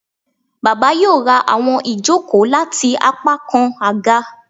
Baba yoo ra awọn ijoko lati apakan aga